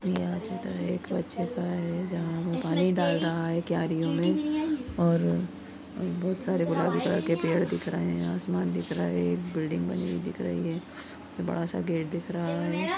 यह चित्र एक बच्चे का है जहाँ पे पानी डाल रहा है क्यारीयों मे और बहुत सारे गुलाबी कलर के पेड़ दिख रहे है आसमान दिख रहा है एक बिल्डिंग बनी हुई दिख रही है और बड़ा सा गेट दिख रहा है।